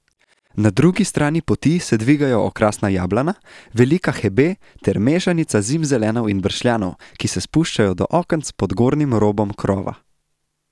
Na drugi strani poti se dvigajo okrasna jablana, velika hebe ter mešanica zimzelenov in bršljanov, ki se spuščajo do okenc pod gornjim robom krova.